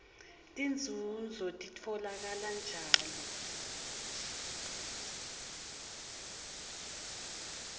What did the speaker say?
tinzunzo titfolakala njalo